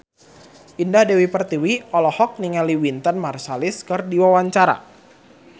Indah Dewi Pertiwi olohok ningali Wynton Marsalis keur diwawancara